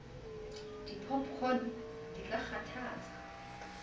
di popcorn di ka kgathatsa